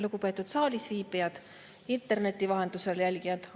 Lugupeetud saalis viibijad, interneti vahendusel jälgijad!